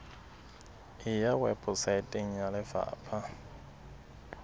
e ya weposaeteng ya lefapha